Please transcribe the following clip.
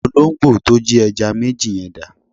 Olóǹgbò to jí ẹja méjì yẹn dà?